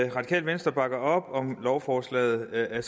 radikale venstre bakker op om lovforslaget af